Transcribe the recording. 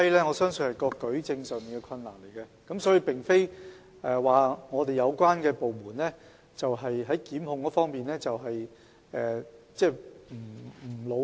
我相信是因為舉證上存在困難，而並非有關部門在檢控方面不努力。